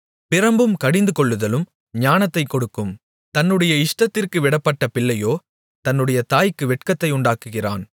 பிரம்பும் கடிந்துகொள்ளுதலும் ஞானத்தைக் கொடுக்கும் தன்னுடைய இஷ்டத்திற்கு விடப்பட்ட பிள்ளையோ தன்னுடைய தாய்க்கு வெட்கத்தை உண்டாக்குகிறான்